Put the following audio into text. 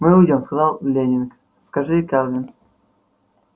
мы уйдём сказал лэннинг скажи кэлвин